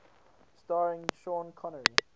starring sean connery